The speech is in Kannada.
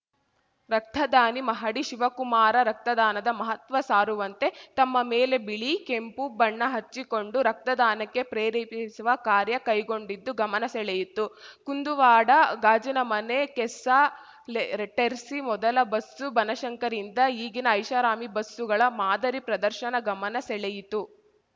ರಕ್ತದಾನಿ ಮಹಡಿ ಶಿವಕುಮಾರ ರಕ್ತದಾನದ ಮಹತ್ವ ಸಾರುವಂತೆ ತಮ್ಮ ಮೇಲೆ ಬಿಳಿ ಕೆಂಪು ಬಣ್ಣ ಹಚ್ಚಿಕೊಂಡು ರಕ್ತದಾನಕ್ಕೆ ಪ್ರೇರೇಪಿಸುವ ಕಾರ್ಯ ಕೈಗೊಂಡಿದ್ದು ಗಮನ ಸೆಳೆಯಿತು ಕುಂದುವಾಡ ಗಾಜಿನ ಮನೆ ಕೆಸ್ಸಾಲೆಟೆರ್ಸಿ ಮೊದಲ ಬಸ್ಸು ಬನಶಂಕರಿಯಿಂದ ಈಗಿನ ಐಷಾರಾಮಿ ಬಸ್ಸುಗಳ ಮಾದರಿ ಪ್ರದರ್ಶನ ಗಮನ ಸೆಳೆಯಿತು